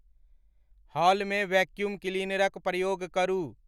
हॉलमे vacuum क्लीनरक प्रयोग करू